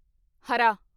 ਹਰਾ